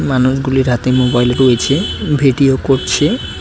মানুষগুলির হাতে মোবাইল রয়েছে ভিডিও করছে।